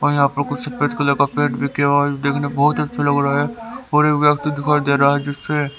और यहां पर कुछ सफेद कलर का पेंट भी किया हुआ है देखने बहोत अच्छा लग रहा है और एक व्यक्ति दिखाई दे रहा है जिसे--